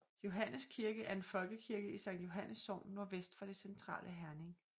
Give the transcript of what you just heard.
Johannes Kirke er en folkekirke i Sankt Johannes Sogn nordvest for det centrale Herning